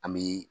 An bɛ